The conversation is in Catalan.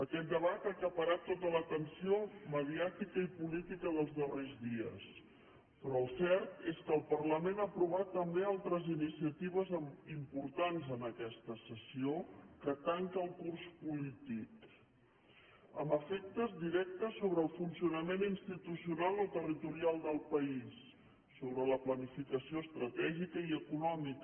aquest debat ha acaparat tota l’atenció mediàtica i política dels darrers dies però el cert és que el parlament ha aprovat també altres iniciatives importants en aquesta sessió que tanca el curs polític amb efectes directes sobre el funcionament institucional o territorial del país sobre la planificació estratègica i econòmica